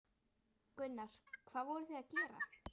Gunnar: Hvað voruð þið að gera?